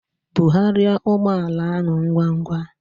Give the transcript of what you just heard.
Bugharịa ụgbọ ala ahụ ngwa ngwa!